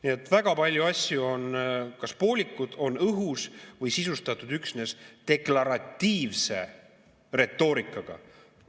Nii et väga palju asju on poolikud, on õhus või sisustatud üksnes deklaratiivse retoorikaga.